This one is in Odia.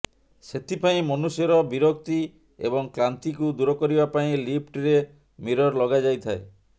ସେଥିପାଇଁ ମନୁଷ୍ୟର ବିରକ୍ତି ଏବଂ କ୍ଲାନ୍ତିକୁ ଦୂର କରିବା ପାଇଁ ଲିଫ୍ଟରେ ମିରର୍ ଲଗାଯାଇଥାଏ